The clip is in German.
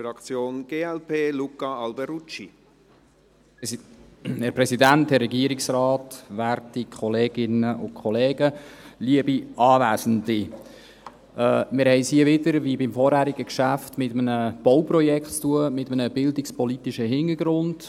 Wir haben es hier wieder wie beim vorherigen Geschäft mit einem Bauprojekt zu tun mit einem bildungspolitischen Hintergrund.